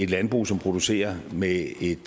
landbrug som producerer med et